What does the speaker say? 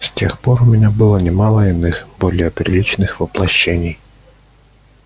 с тех пор у меня было немало иных более приличных воплощений